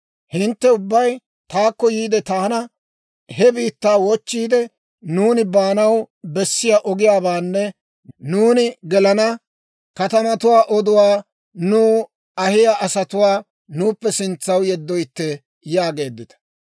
«Hintte ubbay taakko yiide taana, ‹He biittaa wochchiide, nuuni baanaw bessiyaa ogiyaabaanne, nuuni gelana katamatuwaa oduwaa nuw ahiyaa asatuwaa nuuppe sintsaw yeddoytte› yaageeddita.